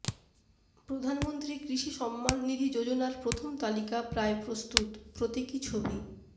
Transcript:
প্রধানমন্ত্রী কৃষি সম্মান নিধি যোজনার প্রথম তালিকা প্রায় প্রস্তুত প্রতীকী ছবি